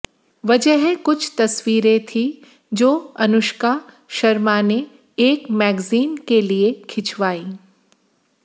वजह कुछ तस्वीरें थीं जो अनुष्का शर्मा ने एक मैगज़ीन के लिए खिंचवाई